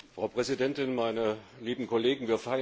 Frau Präsidentin! Meine lieben Kollegen!